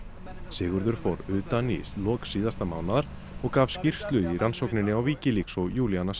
Sigurður fór utan í lok síðasta mánaðar og gaf skýrslu í rannsókninni á Wikileaks og